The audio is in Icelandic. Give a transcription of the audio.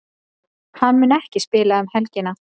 Hann mun ekki spila um helgina.